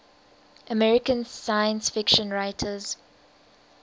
american science fiction writers